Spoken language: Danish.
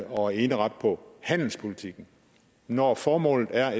og eneret på handelspolitikken når formålet er